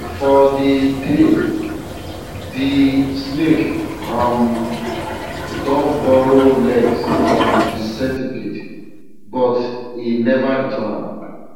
for de tale de snake um don borrow legs from de centipede but e never return am